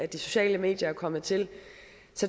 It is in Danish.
de sociale medier er kommet til